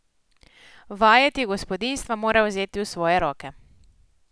Vajeti gospodinjstva mora vzeti v svoje roke.